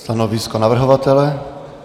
Stanovisko navrhovatele?